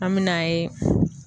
An me n'a ye